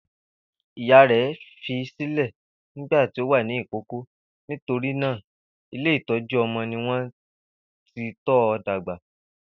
Ìyá rẹ̀ fi sílẹ́ nígbà tí ó wà ní ìkókó, nítorí náà Ilé ìtọ́ju-ọmọ ni wọ́n ti tọ́ ọ dàgbà.